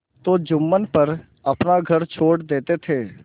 तो जुम्मन पर अपना घर छोड़ देते थे